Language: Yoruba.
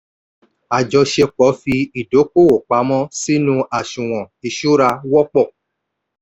àjọṣepọ̀ fi ìdókòwò pamọ́ sínú àṣùwọ̀n ìṣura wọ́pọ̀.